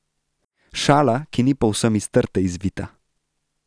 Šala, ki ni povsem iz trte izvita.